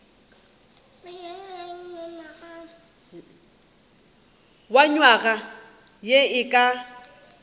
wa nywaga ye e ka